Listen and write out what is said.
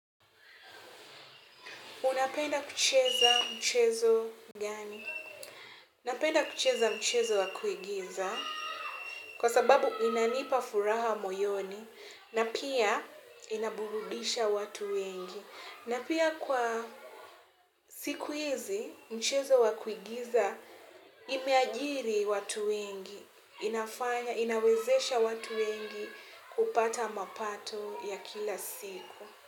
Unapenda kucheza mchezo gani? Napenda kucheza mchezo wa kuigiza kwa sababu inanipa furaha moyoni na pia inaburudisha watu wengi. Na pia kwa siku hizi mchezo wa kuigiza imeajiri watu wengi inafanya, inawezesha watu wengi kupata mapato ya kila siku.